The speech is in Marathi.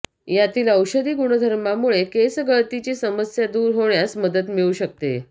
यातील औषधी गुणधर्मामुळे केसगळतीची समस्या दूर होण्यास मदत मिळू शकते